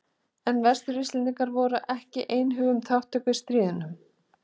En Vestur-Íslendingar voru ekki einhuga um þátttöku í stríðinu.